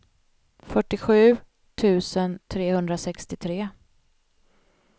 fyrtiosju tusen trehundrasextiotre